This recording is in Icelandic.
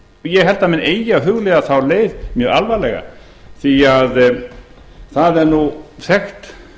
ég held að menn eigi að hugleiða þá leið mjög alvarlega því að það er þekkt